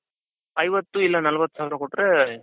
ಐವತ್ತು ಇಲ್ಲ ನಲವತ್ತು ಸಾವಿರ ಕೊಟ್ರೆ